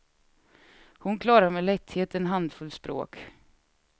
Hon klarar med lätthet en handfull språk.